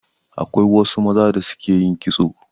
Akwai wasu maza da su ke yin kitso